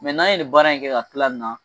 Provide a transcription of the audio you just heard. Mɛ n'an ye ni baara in kɛ ka tila nin na.